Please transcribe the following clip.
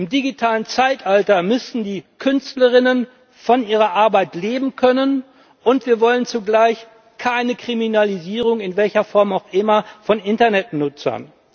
Im digitalen Zeitalter müssen die Künstlerinnen und Künstler von ihrer Arbeit leben können, und wir wollen zugleich keine Kriminalisierung in welcher Form auch immer von Internetnutzern.